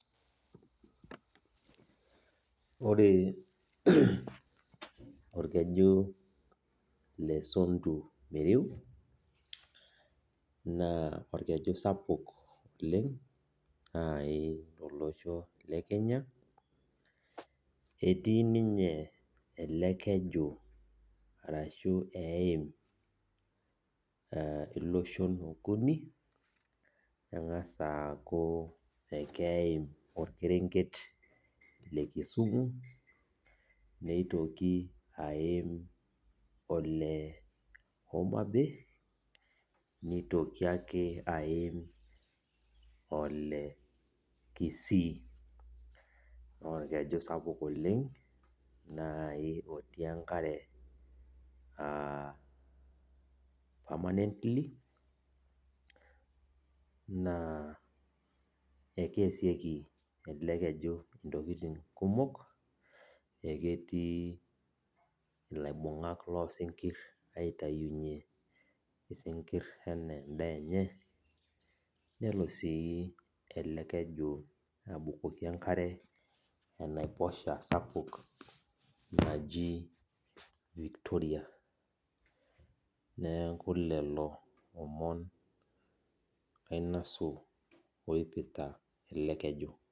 Ore orkeju lesondu miriu na orkeju sapuk oleng tolosho le Kenya etii ninye elekeju ashu eim iloshon okuni engasa aaku akeeim orkerenget lekisumu nitoki aaim ole homabei nitoki ake aim ole kisii na orkeju sapuk oleng otii enkare permanently na akeasieki elebkeju ntokitin kumok aketii laibungak losinkir aitaunye sinkir ana endaa enye nelo si ele keju abukoki enkare enaiposha sapuk naji victoria neaku lolo omon ainosu oipirta elekeju.